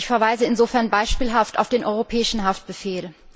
Ich verweise insofern beispielhaft auf den Europäischen Haftbefehl.